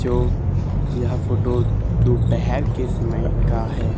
जो यहां फोटो दोपहर के समय का है।